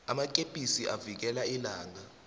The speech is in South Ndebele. amakepisi avikela ilanga